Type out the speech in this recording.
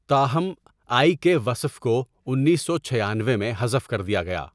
تاہم، آئی کے وصف کو انیس سو چھیانوے میں حذف کردیا گیا۔